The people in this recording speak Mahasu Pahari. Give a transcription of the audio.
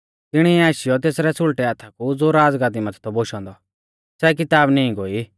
तिणिऐ आशीयौ तेसरै सुल़टै हाथा कु ज़ो राज़गाद्दी माथै थौ बोशौ औन्दौ सै किताब नीं गोई